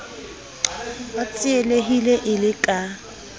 a tsielehile e le ka